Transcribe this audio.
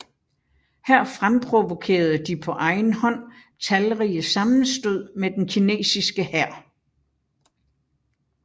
Her fremprovokerede de på egen hånd talrige sammenstød med den kinesiske hær